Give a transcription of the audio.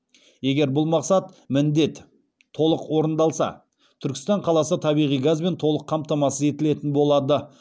егер бұл мақсат міндет толық орындалса түркістан қаласы табиғи газбен толық қамтамасыз етілетін болады